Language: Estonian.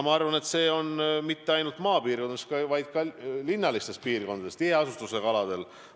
Ma arvan, et see ei ole nii mitte ainult maapiirkondades, vaid ka linnalistes piirkondades, tiheasutusega aladel.